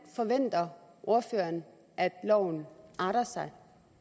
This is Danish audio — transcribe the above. forventer ordføreren at loven arter sig